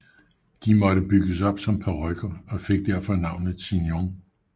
De måtte bygges op som parykker og fik derfor navnet chignon